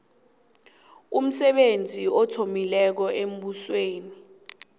umsebenzi othileko embusweni